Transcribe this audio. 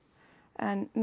en með